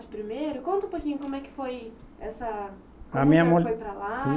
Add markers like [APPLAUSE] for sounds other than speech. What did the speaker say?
Primeiro? Conta um pouquinho como é que foi essa. [UNINTELLIGIBLE]